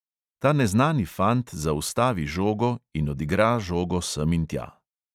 Ta neznani fant zaustavi žogo in odigra žogo sem in tja.